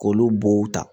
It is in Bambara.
K'olu bow ta